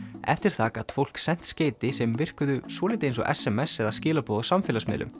eftir það gat fólk sent skeyti sem virkuðu svolítið eins og s m s eða skilaboð á samfélagsmiðlum